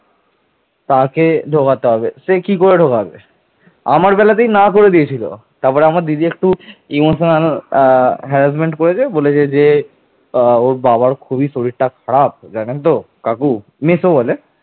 শশাঙ্ক ছিলেন মগধের গুপ্ত সম্রাট মহাসেন গুপ্তের একজন সীমান্তবর্তী মহাসামন্ত